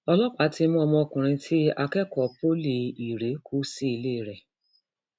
ọlọpàá ti mú ọmọkùnrin tí akẹkọọ poli irèé irèé kú sílé rẹ